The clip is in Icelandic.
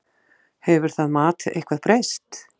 Hefur það mat eitthvað breyst?